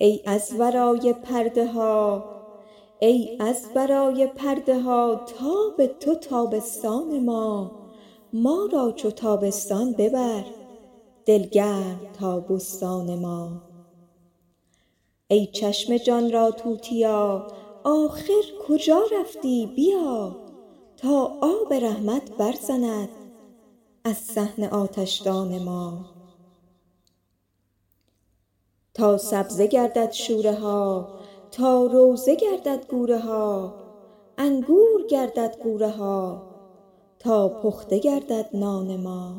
ای از ورای پرده ها تاب تو تابستان ما ما را چو تابستان ببر دل گرم تا بستان ما ای چشم جان را توتیا آخر کجا رفتی بیا تا آب رحمت برزند از صحن آتشدان ما تا سبزه گردد شوره ها تا روضه گردد گورها انگور گردد غوره ها تا پخته گردد نان ما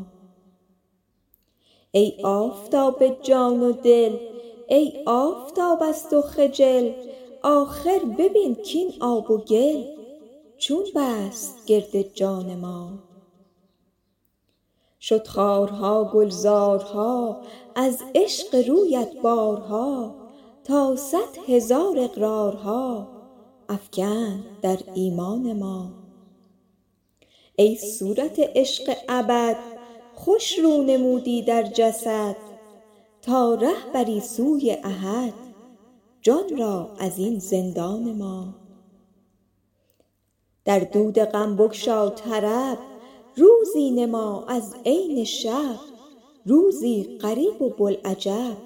ای آفتاب جان و دل ای آفتاب از تو خجل آخر ببین کاین آب و گل چون بست گرد جان ما شد خارها گلزارها از عشق رویت بارها تا صد هزار اقرارها افکند در ایمان ما ای صورت عشق ابد خوش رو نمودی در جسد تا ره بری سوی احد جان را از این زندان ما در دود غم بگشا طرب روزی نما از عین شب روزی غریب و بوالعجب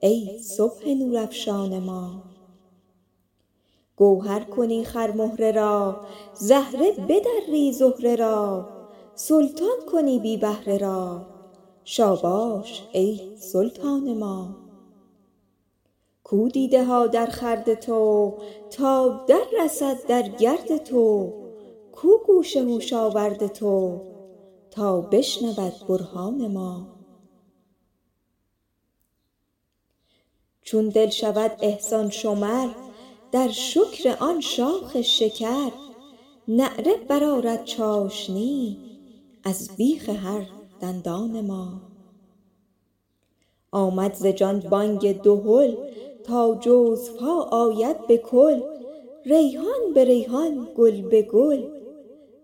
ای صبح نورافشان ما گوهر کنی خرمهره را زهره بدری زهره را سلطان کنی بی بهره را شاباش ای سلطان ما کو دیده ها درخورد تو تا دررسد در گرد تو کو گوش هوش آورد تو تا بشنود برهان ما چون دل شود احسان شمر در شکر آن شاخ شکر نعره برآرد چاشنی از بیخ هر دندان ما آمد ز جان بانگ دهل تا جزوها آید به کل ریحان به ریحان گل به گل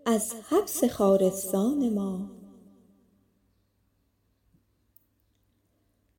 از حبس خارستان ما